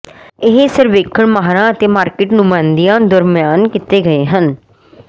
ਇਹ ਸਰਵੇਖਣ ਮਾਹਰਾਂ ਅਤੇ ਮਾਰਕੀਟ ਨੁਮਾਇੰਦਿਆਂ ਦਰਮਿਆਨ ਕੀਤੇ ਗਏ ਹਨ